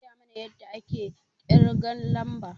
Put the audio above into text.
An koya mana yadda ake ƙirgan lamba